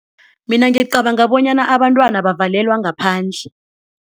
Mina ngicabanga bonyana abantwana bavalelwa ngaphandle.